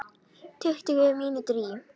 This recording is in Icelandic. Tuttugu mínútur í